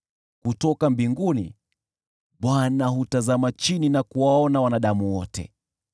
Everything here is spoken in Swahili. Kutoka mbinguni Bwana hutazama chini na kuwaona wanadamu wote;